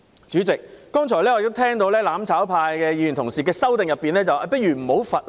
主席，我剛才聽到"攬炒派"議員表示，其修正案建議取消罰則。